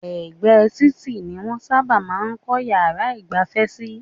Ẹ̀gbẹ́ títì ni wọ́n sábà máa ń kọ́ yàrá ìgbafẹ́ sí.